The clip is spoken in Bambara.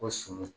Ko sunɔgɔ